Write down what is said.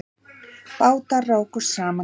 Bátar rákust saman